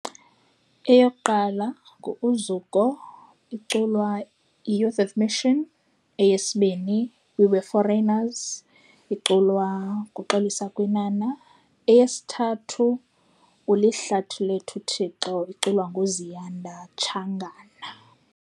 Eyokuqala ngu-Uzuko, iculwa yiYouth of Mission. Eyesibini, We Were Foreigners iculwa nguXolisa Kwinana. Eyesithathu, Ulihlathi Lethu Thixo iculwa nguZiyanda Tshangana.